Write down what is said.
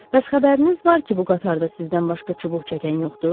Bəs xəbəriniz var ki, bu qatarda sizdən başqa çubuq çəkən yoxdur?